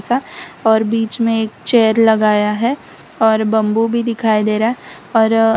और बीच में एक चेयर लगाया है और बंबू भी दिखाई दे रहा और--